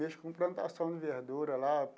Mexo com plantação de verdura, lá.